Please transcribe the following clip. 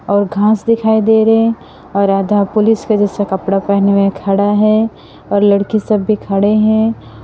और घास दिखाई दे रहे हैं और आधा पुलिस के जैसा कपड़ा पहने खड़ा है और लड़की सब भी खड़े हैं।